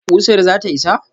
ƙusar zata isa?